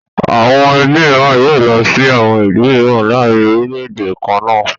Àwọn ẹbí mìíràn yóò sí lọ sí àwọn ìlú mìíràn láàárin orílẹ̀-èdè kan náà.